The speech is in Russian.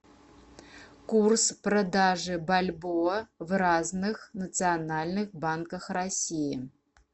курс продажи бальбоа в разных национальных банках россии